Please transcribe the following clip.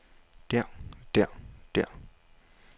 der der der